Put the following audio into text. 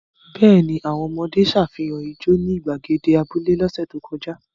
Bẹ́ẹ̀ ni, àwọn ọmọdé ṣàfihàn ijó ní ìgbàgede abúlé lọ́sẹ̀ tó kọjá.